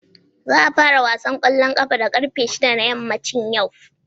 Za a fara wasan kwallon kafa da karfe 6 na yammacin yau.